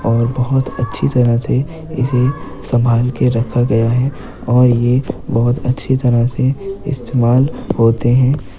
और बोहोत अच्छी तरह से इसे संभाल के रखा गया है और ये बहुत अच्छी तरह से इस्तेमाल होते हैं।